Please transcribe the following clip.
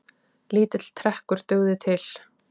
Lítill trekkur dugði til.